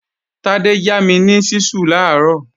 Tádé yá mi ni ṣísù làárọ̀